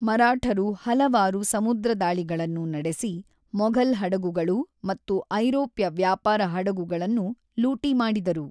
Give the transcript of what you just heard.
ಮರಾಠರು ಹಲವಾರು ಸಮುದ್ರದಾಳಿಗಳನ್ನು ನಡೆಸಿ, ಮೊಘಲ್ ಹಡಗುಗಳು ಮತ್ತು ಐರೋಪ್ಯ ವ್ಯಾಪಾರ ಹಡಗುಗಳನ್ನು ಲೂಟಿ ಮಾಡಿದರು.